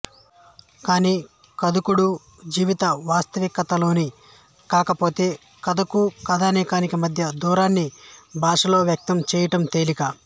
కానీ కథకుడు జీవిత వాస్తవికతలోనివాడు కాకపోతే కథకూ కథనానికీ మధ్య దూరాన్ని భాషలో వ్యక్తం చెయ్యటం తేలిక